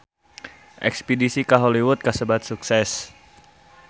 Espedisi ka Hollywood kasebat sukses